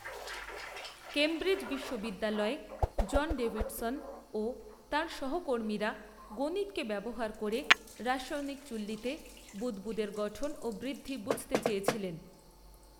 Cambridge বিশ্ববিদ্যালয়ে John Davidson ও তাঁর সহকর্মীরা গণিতকে ব্যবহার করে রাসায়নিক চুল্লিতে বুদ্বুদের গঠন ও বৃদ্ধি বুঝতে চেয়েছিলেন।